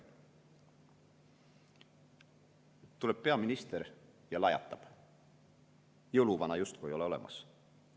Siis aga tuleb peaminister ja lajatab, et jõuluvana justkui ei ole olemas.